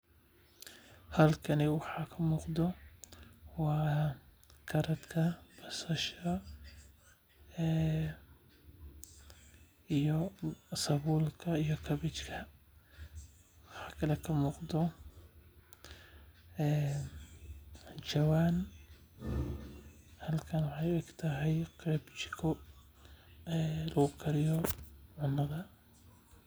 Halkani waxaa kamuuqata waa karadka basasha iyo sabuulka iyo kabachka waxaa kale oo ka muuqdo jawaan waxeey u eg tahay qeeb jiko lagu kariyo.